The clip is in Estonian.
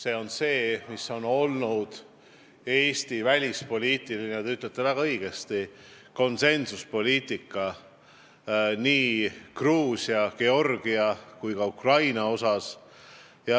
Eesti konsensuslik välispoliitika, nagu te väga õigesti ütlesite, ilmneb nii Georgia kui ka Ukraina puhul.